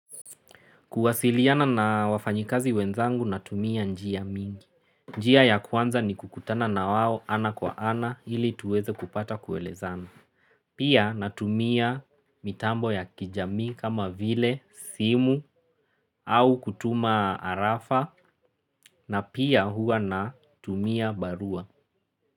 Kuwasiliana na wafanyikazi wenzangu natumia njia mingi. Njia ya kwanza ni kukutana na wao ana kwa ana ili tuweze kupata kuelezana. Pia natumia mitambo ya kijami kama vile, simu au kutuma arafa na pia hua na tumia barua.